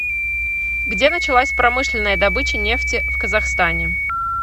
где началась промышленная добыча нефти в казахстане